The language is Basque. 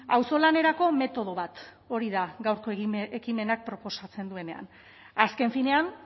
auzolanerako metodo bat hori da gaurko ekimenak proposatzen duena azken finean